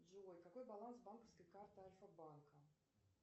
джой какой баланс банковской карты альфа банка